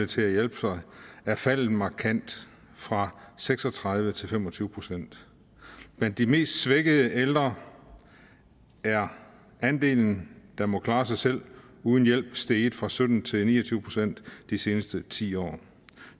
til at hjælpe sig er faldet markant fra seks og tredive procent til fem og tyve procent blandt de mest svækkede ældre er andelen der må klare sig selv uden hjælp steget fra sytten procent til ni og tyve procent de seneste ti år